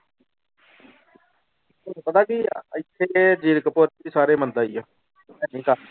ਤੈਨੂੰ ਪਤਾ ਕਿ ਇੱਥੇ ਜੀਰਕਪੁਰ ਚ ਸਾਰੇ ਮੰਦਾ ਹੀ ਆ